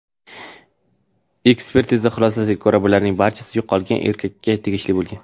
Ekspertiza xulosasiga ko‘ra, bularning barchasi yo‘qolgan erkakka tegishli bo‘lgan.